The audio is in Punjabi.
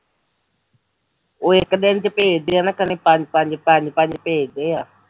ਉਹ ਇੱਕ ਦਿਨ ਚ ਭੇਜਦੇ ਐ ਇਕੱਲੇ ਪੰਜ ਪੰਜ ਭੇਜਦੇ